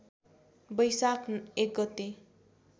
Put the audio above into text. बैशाख १ गते